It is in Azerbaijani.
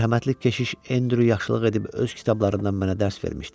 Mərhəmətli keşiş Endryu yaxşılıq edib öz kitablarından mənə dərs vermişdi.